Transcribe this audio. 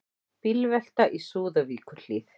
Bílvelta í Súðavíkurhlíð